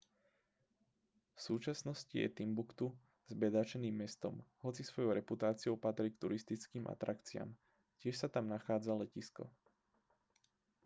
v súčasnosti je timbuktu zbedačeným mestom hoci svojou reputáciou patrí k turistickým atrakciám tiež sa tam nachádza letisko